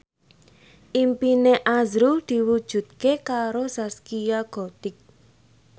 impine azrul diwujudke karo Zaskia Gotik